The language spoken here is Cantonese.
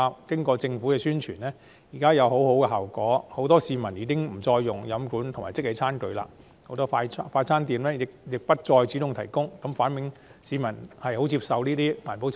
經過政府的宣傳，很多市民已沒有使用飲管和即棄餐具，很多快餐店亦不再主動提供，反映市民相當接受這些環保措施。